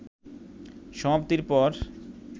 সমাপ্তির পর